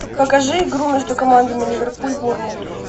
покажи игру между командами ливерпуль борнмут